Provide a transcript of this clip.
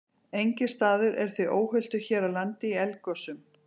Enginn staður er því óhultur hér á landi í eldgosum.